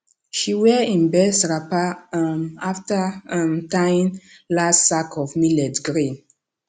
she wear im best wrapper um after um tying last sack of millet grain